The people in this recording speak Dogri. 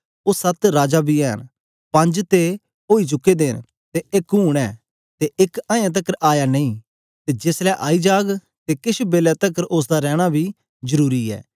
ओ सत्त राजा बी ऐ न पंज ते ओई चुके दे न ते एक हूंन ऐ ते एक अयें तकर आया नेई ते जेस ले आई जाग ते किश बेलै तकर उस्स दा रैना बी जरुरी ऐ